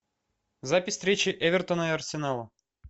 запись встречи эвертона и арсенала